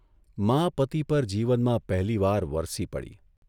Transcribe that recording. મા પતિ પર જીવનમાં પહેલીવાર વરસી પડી.